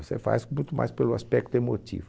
Você faz muito mais pelo aspecto emotivo.